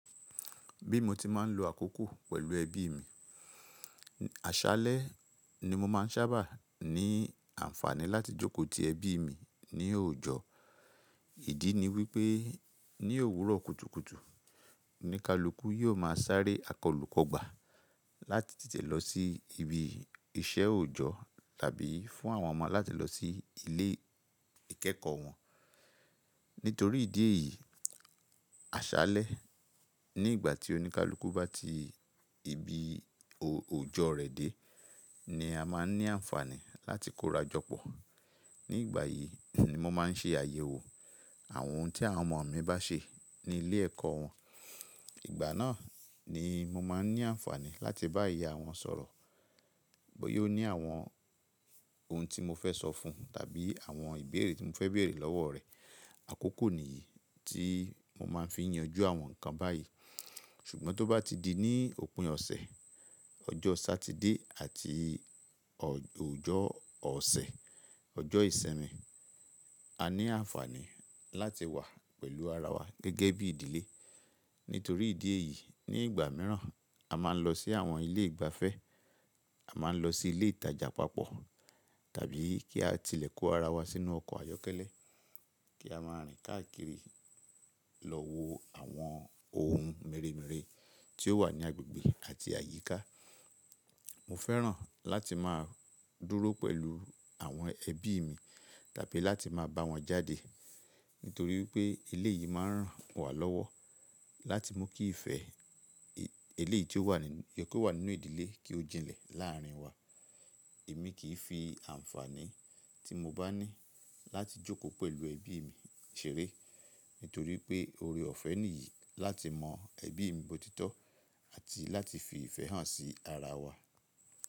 Bí mo ti máa ń lo àkókò pẹ̀lú ẹbí mi. Àṣálẹ́ ni mo máa ń sábà ní àǹfààní láti jókòó ti ẹbí mi ní òòjọ́. Ìdí ni wípé ní òwúrọ̀ kùtùkùtù, oníkálukú yóò máa sáré akọlù kọ́gbà láti tètè lọ sí ibi iṣẹ́ òòjọ́ tàbí fún àwọn ọmọ láti lọ sí ilé ìkẹ́kọ̀ọ́ wọn. Nítorí ìdí èyí, àṣálẹ́ ní ìgbà tí oníkálukú bá ti ibi òòjọ́ rẹ̀ dé ni a máa ń ní àǹfààní láti kórajọpọ̀. Ní ìgbà yìí ni mo máa ń ṣe àyẹ̀wò àwọn ohun tí àwọn ọmọ mi bá ṣe ní ilé ẹ̀kọ́ wọn. Ìgbà náà ni mo máa ń ní àǹfààní láti bá ìyá wọn sọ̀rọ̀ bóyá ó ní àwọn ohun tí mo fẹ́ sọ fún tàbí àwọn ìbéèrè tí mo fẹ́ bèèrè lọ́wọ́ rẹ̀. Àkókò nìyí tí mo máa ń fi yanjú àwọn nǹkan báyìí. Ṣùgbọ́n tó bá ti di ní òpin ọ̀sẹ̀, ọjọ́ Satide àti òjọ́ ọ̀sẹ̀, ọjọ́ ìsinmi, a ní àǹfààní láti wà pẹ̀lú ara wa gẹ́gẹ́ bí ìdílé. Nítorí ìdí èyí, ní ìgbà mìíràn a máa ń lọ sí àwọn ilé ìgbafẹ́, a máa ń lọ sí ilé ìtajà papọ̀ tàbí kí á tilẹ̀ kó ara wa sínú ọkọ̀ ayọ́kẹ́lẹ́ kí a máa rìn káàkiri lọ wo àwọn ohun mèremère tí ó wà ní agbègbè àti àyíká. Mo fẹ́ràn láti máa dúró pẹ̀lú àwọn ẹbí mi tàbí láti máa bá wọn jáde. Nítorí wípé eleyìí máa ń ràn wá lọ́wọ́ láti mú kí ìfẹ́ eléyìí tí ó wà nínú ìdílé kí ó jinlẹ̀ láàárín wa. Èmi kì í fi àǹfààní tí mo bá ní láti jókòó pẹ̀lú ẹbí mi ṣeré. Nítorí pé oore ọ̀fẹ́ nìyí láti mọ ẹbí mi bó titọ́ àti láti fi ìfẹ́ hàn sí ara wa.